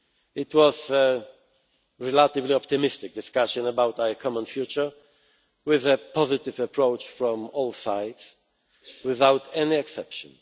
It was a relatively optimistic discussion about our common future, with a positive approach from all sides, without any exception.